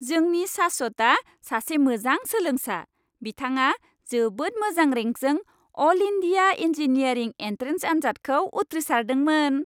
जोंनि शाश्वता सासे मोजां सोलोंसा! बिथाङा जोबोद मोजां रेंकजों अल इन्डिया इंजीनियरिंग एन्ट्रेन्स आनजादखौ उथ्रिसारदोंमोन।